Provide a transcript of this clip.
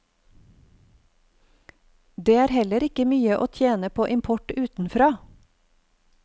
Det er heller ikke mye å tjene på import utenfra.